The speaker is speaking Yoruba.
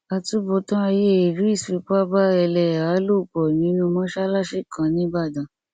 àtúbọtán ayé idris fipá bá ẹlẹhàá lò pọ nínú mọṣáláṣí kan nìbàdàn